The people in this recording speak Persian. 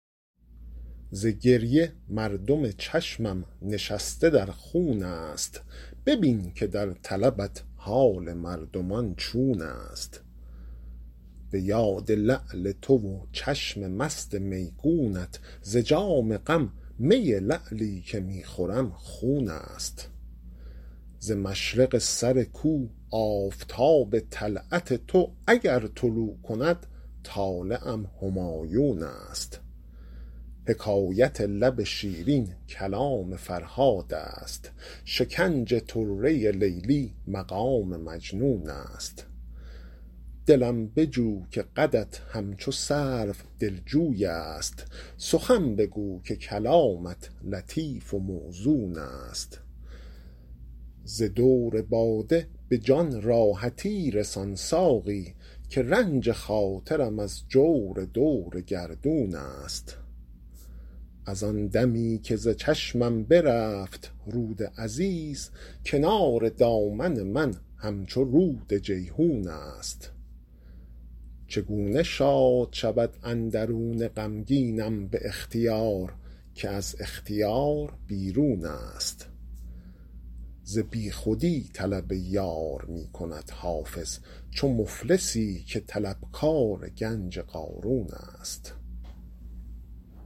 ز گریه مردم چشمم نشسته در خون است ببین که در طلبت حال مردمان چون است به یاد لعل تو و چشم مست میگونت ز جام غم می لعلی که می خورم خون است ز مشرق سر کو آفتاب طلعت تو اگر طلوع کند طالعم همایون است حکایت لب شیرین کلام فرهاد است شکنج طره لیلی مقام مجنون است دلم بجو که قدت همچو سرو دلجوی است سخن بگو که کلامت لطیف و موزون است ز دور باده به جان راحتی رسان ساقی که رنج خاطرم از جور دور گردون است از آن دمی که ز چشمم برفت رود عزیز کنار دامن من همچو رود جیحون است چگونه شاد شود اندرون غمگینم به اختیار که از اختیار بیرون است ز بیخودی طلب یار می کند حافظ چو مفلسی که طلبکار گنج قارون است